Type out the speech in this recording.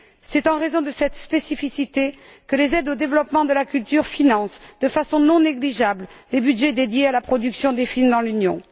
C'est en raison de cette spécificité que les aides au développement de la culture financent de façon non négligeable les budgets dédiés à la production des films dans l'Union.